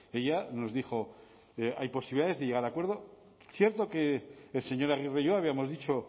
ella nos dijo hay posibilidades de llegar a acuerdo cierto que el señor aguirre yo habíamos dicho